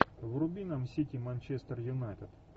вруби нам сити манчестер юнайтед